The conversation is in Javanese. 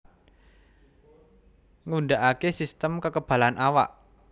Ngundhakake sistem kekebalan awak